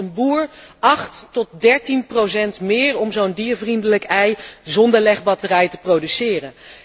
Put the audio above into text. Het kost een boer 8 tot 13 procent meer om zo'n diervriendelijk ei zonder legbatterij te produceren.